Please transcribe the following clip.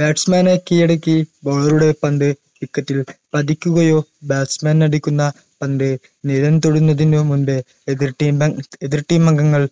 batsman കീഴടക്കി baller ഉടെ പന്ത് wicket ൽ പതിക്കുകയോ batsman അടിക്കുന്ന പന്ത് നാലാം തൊടുന്നതിനു മുമ്പ് എതിർ team അ എതിർ team അംഗങ്ങൾ